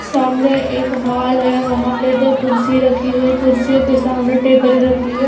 सामने एक हाल है वहां पे दो कुर्सी रखी हुई हैं कुर्सियों के सामने टेबल रखी है।